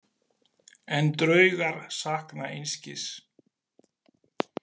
En draugar sakna einskis.